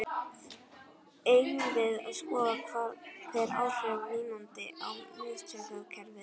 Eigum við að skoða hver áhrif vínanda á miðtaugakerfið eru?